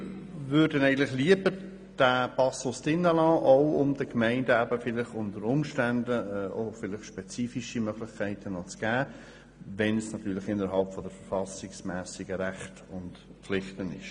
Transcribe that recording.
Wir möchten diesen Passus lieber im Gesetz behalten, um den Gemeinden unter Umständen spezifische Möglichkeiten zu geben, wenn diese innerhalb der verfassungsmässigen Rechte und Pflichten liegen.